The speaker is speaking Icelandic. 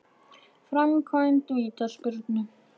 Framkvæmd vítaspyrnu?